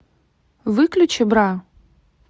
выключи бра